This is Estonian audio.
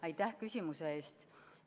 Aitäh küsimuse eest!